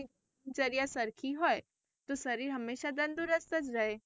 દિનચર્યા સરખી હોય તો શરીર હંમેશા તંદુરસ્ત જ રહે.